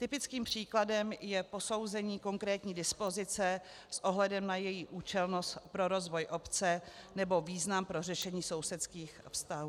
Typickým příkladem je posouzení konkrétní dispozice s ohledem na její účelnost pro rozvoj obce nebo význam pro řešení sousedských vztahů.